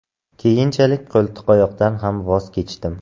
Keyinchalik qo‘ltiqtayoqdan ham voz kechdim.